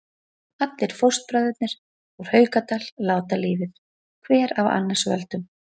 Allir fóstbræðurnir úr Haukadal láta lífið, hver af annars völdum.